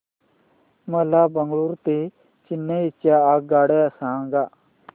मला बंगळुरू ते चेन्नई च्या आगगाड्या सांगा